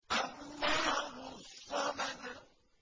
اللَّهُ الصَّمَدُ